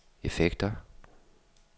effekter